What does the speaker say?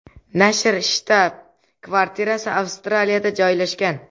Nashr shtab-kvartirasi Avstraliyada joylashgan.